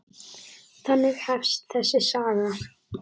Þannig hefst þessi saga.